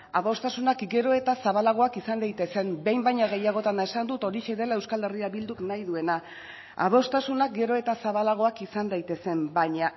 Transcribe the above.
adostasunak gero eta zabalagoak izan daitezen behin baino gehiagotan esan dut hori dela euskal herria bilduk nahi duena adostasunak gero eta zabalagoak izan daitezen baina